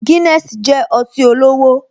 Guinness jẹ́ ọtí olówó